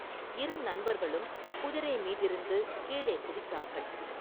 இரு நண்பர்களும், குதிரை மீதிருந்து கீழே குதித்தார்கள்.